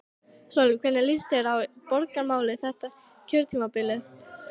Sólveig: Hvernig líst þér á borgarmálin þetta kjörtímabilið?